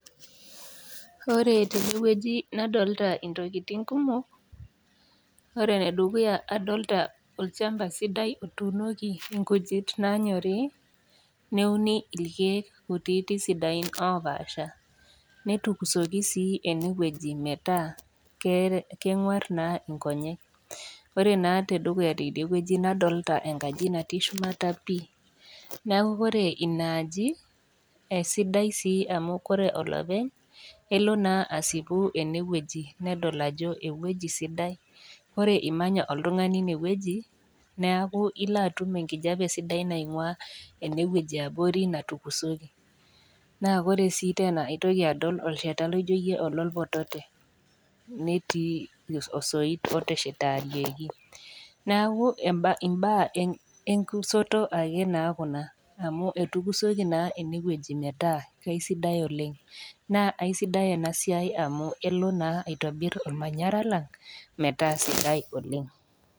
Ore tene wueji nadolita intokitin kumok, ore ene dukuya adolita olchamba sidai otuunoki inkujit naanyorii neuni ilkeek kutiiti sidain opaasha netukusoki sii ene wueji metaa kengwaar naa inkonyek. Ore te dukuya teidie wueji nadolita enkaji natii shumata pii, neaku ore inaaji, esidai sii amu ore olopeny, elo naa aasipu ene wueji nedol ajo ewueji sidai, ore imanya oltung'ani one wueji, neaku ilo atum enkijape sidai naing'ua ene wueji e abori natukisoki, naa ore sii teena aitoki adol olsheta loijoiyie ololpotote, netii osoit oteshetarieki, neaku imbaa enkusoto akee naa Kuna amu ketukusoki naa ene wueji metaa sidai oleng', naa aisidai ena siai amu kelo naa aitobir olmanyara lang' metaa sidai oleng'.